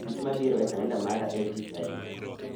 Dich mabiro e kalenda mara en tich adi?